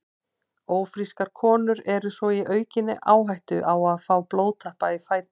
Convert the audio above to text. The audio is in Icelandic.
Ófrískar konur eru svo í aukinni áhættu á að fá blóðtappa í fætur.